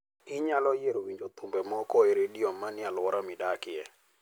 Inyalo yiero winjo thumbe moko e redio manie alwora midakie.